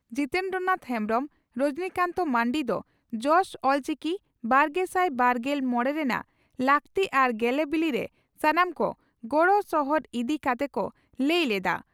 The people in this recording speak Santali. ᱡᱤᱛᱮᱱᱫᱨᱚᱱᱟᱛᱷ ᱦᱮᱢᱵᱽᱨᱚᱢ ᱨᱚᱡᱚᱱᱤ ᱠᱟᱱᱛ ᱢᱟᱱᱰᱤ ᱫᱚ 'ᱡᱚᱥ ᱚᱞᱪᱤᱠᱤᱼᱵᱟᱨᱜᱮᱥᱟᱭ ᱵᱟᱨᱜᱮᱞ ᱢᱚᱲᱮ ' ᱨᱮᱱᱟᱜ ᱞᱟᱠᱛᱤ ᱟᱨ ᱜᱮᱞᱮᱵᱤᱞᱤᱨᱮ ᱥᱟᱱᱟᱢ ᱠᱚ ᱜᱚᱲᱚ ᱥᱚᱦᱚᱫ ᱤᱫᱤ ᱠᱟᱛᱮ ᱠᱚ ᱞᱟᱹᱭ ᱞᱮᱫᱼᱟ ᱾